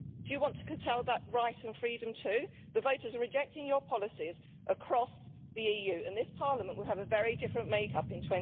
Do you want to curtail that right and freedom too? The voters are rejecting your policies across the EU and this Parliament will have a very different make-up in